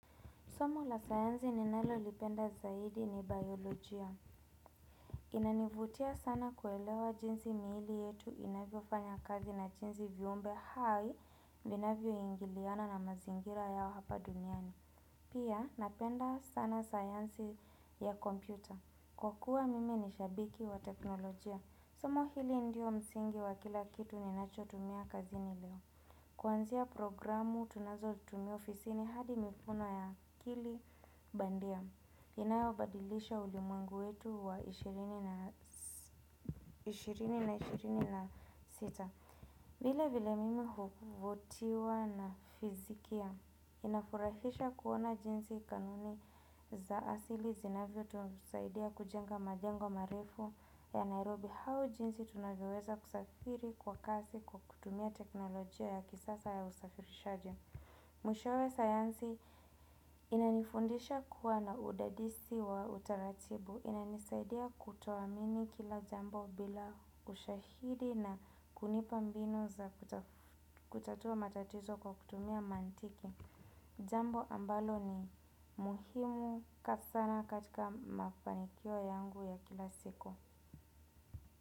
Somo la sayansi ninalolipenda zaidi ni biolojia. Inanivutia sana kuelewa jinsi miili yetu inavyofanya kazi na jinsi viumbe hai vinavyoingiliana na mazingira ya hapa duniani. Pia napenda sana sayansi ya kompyuta. Kwa kuwa mimi ni shabiki wa teknolojia. Somo hili ndio msingi wa kila kitu ninachotumia kazini leo. Kwanzia programu tunazotumia ofisini hadi mikono ya akili bandia inayobadilisha ulimwengu wetu wa elfu mbili na ishirini na sita. Vile vile, mimi huvutiwa na fizikia. Inafurahisha kuona jinsi kanuni za asili zinavyotusaidia kujenga majengo marefu ya Nairobi au jinsi tunavyoweza kusafiri kwa kasi kwa kutumia teknolojia ya kisasa ya usafirishaji. Mwishowe sayansi inanifundisha kuwa na udadisi wa utaratibu. Inanisaidia kutoamini kila jambo bila ushahidi na kunipa mbinu za kutatua matatizo kwa kutumia mantiki. Jambo ambalo ni muhimu kwa sana katika mafanikio yangu ya kila siku.